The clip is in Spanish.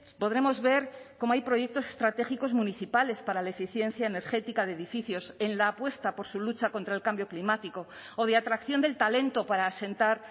podremos ver cómo hay proyectos estratégicos municipales para la eficiencia energética de edificios en la apuesta por su lucha contra el cambio climático o de atracción del talento para asentar